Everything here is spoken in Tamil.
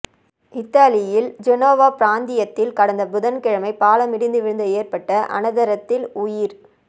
இத்தாலியின் ஜெனோவா பிராந்தியத்தில் கடந்த புதன்கிழமை பாலம் இடிந்து வீழ்ந்து ஏற்பட்ட அனர்த்தத்தில் உயி